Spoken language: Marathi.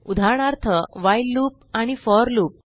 उदाहरणार्थ व्हाईल लूप आणि फोर लूप